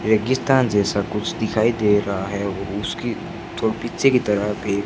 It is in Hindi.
रेगिस्तान जैसा कुछ दिखाई दे रहा है उसकी तो पीछे की तरफ भी--